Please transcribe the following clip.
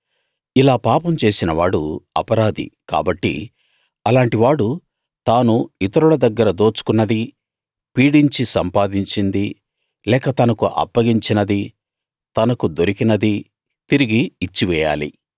ఇలా పాపం చేసినవాడు అపరాధి కాబట్టి అలాంటివాడు తను ఇతరుల దగ్గర దోచుకున్నదీ పీడించి సంపాదించిందీ లేక తనకు అప్పగించినదీ తనకు దొరికినదీ తిరిగి ఇచ్చివేయాలి